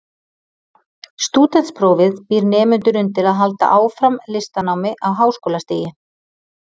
Stúdentsprófið býr nemendur undir að halda áfram listanámi á háskólastigi.